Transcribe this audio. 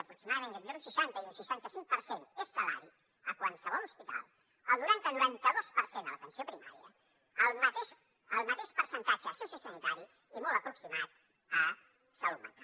aproximadament d’entre un seixanta i un seixanta cinc per cent és salari a qualsevol hospital el noranta noranta dos per cent a l’atenció primària el mateix el mateix percentatge a sociosanitari i molt aproximat a salut mental